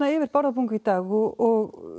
yfir Bárðarbungu í dag og